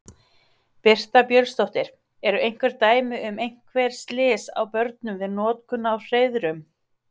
Birta Björnsdóttir: Eru einhver dæmi um einhver slys á börnum við notkun á hreiðrum?